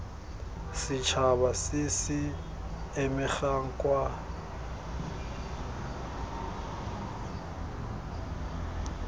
setšhaba se se amegang kwa